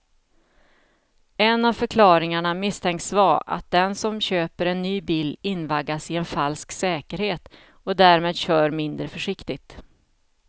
En av förklaringarna misstänks vara att den som köper en ny bil invaggas i en falsk säkerhet och därmed kör mindre försiktigt.